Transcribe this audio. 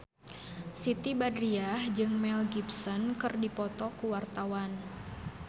Siti Badriah jeung Mel Gibson keur dipoto ku wartawan